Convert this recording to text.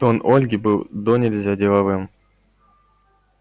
тон ольги был донельзя деловым